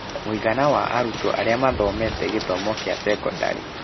Mũigana wa arutwo arĩa mathomete gĩthomo kĩa sekondarĩ.